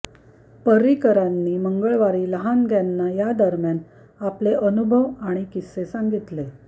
पर्रिकरांनी मंगळवारी लहानग्यांना या दरम्यान आपले अनुभव आणि किस्से सांगितले